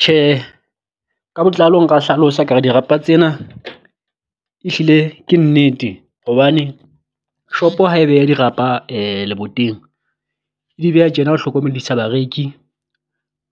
Tjhe ka botlalo nka hlalosa ka dirapa tsena ehlile ke nnete hobane shop-o ha e beha dirapa leboteng, e di beha tjena ho hlokomedisa bareki